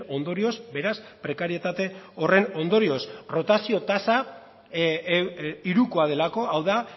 ondorioz beraz prekarietate horren ondorioz rotazio tasa hirukoa delako hau da